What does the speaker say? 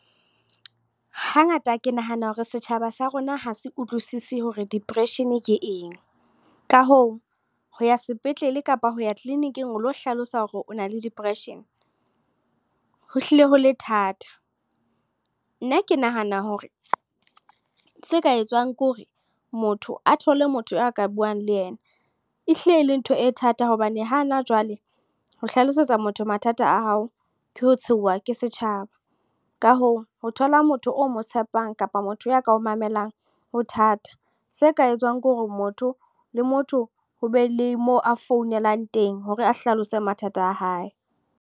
Hangata ke nahana hore setjhaba sa rona ho se utlwisise hore depression ke eng. Ka hoo, ho ya sepetlele kapa ho ya clinic-ing o lo hlalosa hore o na le depression. Ho hlile ho le thata. Nna ke nahana hore se ka etsuwang ke hore motho a thole motho a ka buang le ena. Ehlile e le ntho e thata hobane hana jwale, ho hlalosetsa motho mathata a hao, ke ho tshehuwa ke setjhaba. Ka hoo, ho thola motho o mo tshepang kapa motho ya ka o mamelang, ho thata. Se ka etsuwang ke hore, motho le motho ho be le mo a founelang teng. Hore a hlalose mathata a hae.